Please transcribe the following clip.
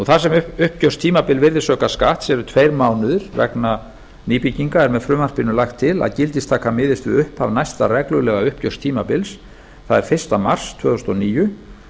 þar sem uppgjörstímabil virðisaukaskatts eru tveir mánuðir vegna nýbygginga er með frumvarpinu lagt til að gildistaka miðist við upphaf næsta reglulega uppgjörstímabils það er fyrsta mars tvö þúsund og níu